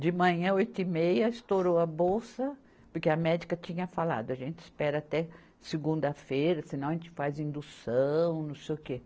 De manhã, oito e meia, estourou a bolsa, porque a médica tinha falado, a gente espera até segunda-feira, senão a gente faz indução, não sei o quê.